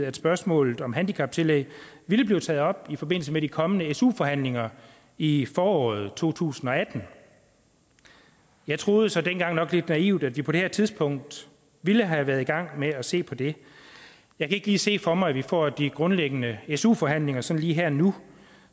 at spørgsmålet om handicaptillæg ville blive taget op i forbindelse med de kommende su forhandlinger i i foråret to tusind og atten jeg troede så dengang nok lidt naivt at vi på det her tidspunkt ville have været i gang med at se på det jeg kan ikke lige se for mig at vi får de grundlæggende su forhandlinger sådan lige her og nu